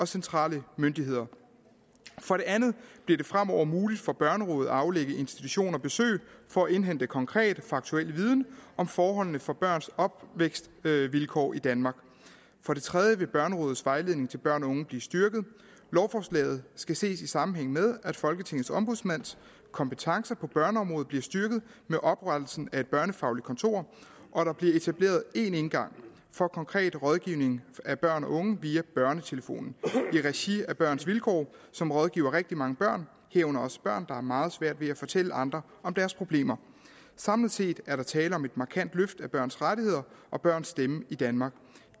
centrale myndigheder for det andet bliver det fremover muligt for børnerådet at aflægge institutioner besøg for at indhente konkret faktuel viden om forholdene for børns opvækstvilkår i danmark for det tredje vil børnerådets vejledning til børn og unge blive styrket lovforslaget skal ses i sammenhæng med at folketingets ombudsmands kompetencer på børneområdet bliver styrket med oprettelsen af et børnefagligt kontor og der bliver etableret én indgang for konkret rådgivning af børn og unge via børnetelefonen i regi af børns vilkår som rådgiver rigtig mange børn herunder også børn der har meget svært at fortælle andre om deres problemer samlet set er der tale om et markant løft af børns rettigheder og børns stemme i danmark